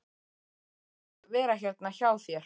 Leyfðu mér að vera hérna hjá þér.